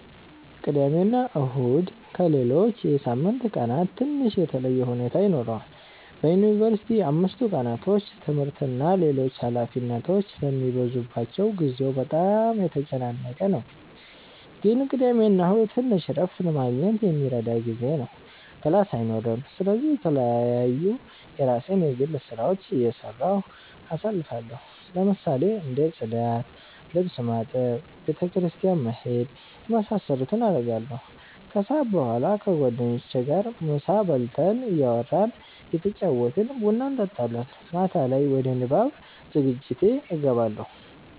ቅዳሜና እሁድ ከሌሎች የሳምንት ቀናት ትንሽ የተለየ ሁኔታ ይኖረዋል በዩንቨርሲቲ አምስቱ ቀናቶች ትምህርት እና ሌሎች ኃላፊነቶች ስለሚበዙባቸው ጊዜው በጣም የተጨናነቀ ነው ግን ቅዳሜና እሁድ ትንሽ እረፍት ለማግኘት የሚረዳ ጊዜ ነው ክላስ አይኖርም ስለዚህ የተለያዩ የራሴን የግል ስራዎች እየሰራሁ አሳልፋለሁ ለምሳሌ እንደ ፅዳት፣ ልብስ ማጠብ፣ ቤተ ክርስቲያን መሄድ የመሳሰሉትን አረጋለሁ። ከሰዓት በኋላ ከጓደኞቼ ጋር ምሳ በልተን እያወራን እየተጫወትን ቡና እንጠጣለን። ማታ ላይ ወደ ንባብ ዝግጅቴ እገባለሁ።